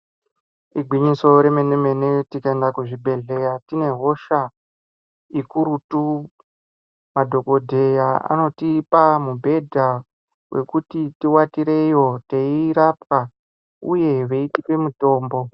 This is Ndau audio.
Igwinyiso remene-mene, tikaenda kuzvibhedhleya tine hosha, ikurutu, madhokodheya anotipa mibhedha ,wekuti tiwatireyo ,teirapwa, uye veitipe mutombo.